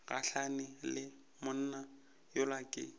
gahlane le monna yola ke